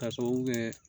K'a sababu kɛ